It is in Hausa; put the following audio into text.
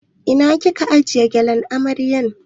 Ina kika aje gyalen amaryar?